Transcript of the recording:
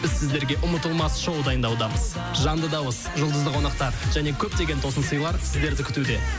біз сіздерге ұмытылмас шоу дайындаудамыз жанды дауыс жұлдызды қонақтар және көптеген тосын сыйлар сіздерді күтуде